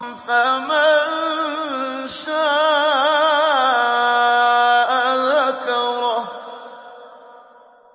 فَمَن شَاءَ ذَكَرَهُ